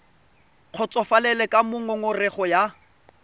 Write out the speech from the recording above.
kgotsofalele ka moo ngongorego ya